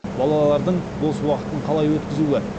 балалардың бос уақытын қалай өткізуі